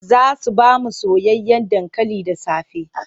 Za su ba mu soyayyen dankali da safe.